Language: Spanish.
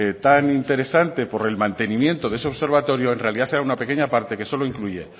tan interesante por el mantenimiento de ese observatorio en realidad era una pequeña parte que solo incluye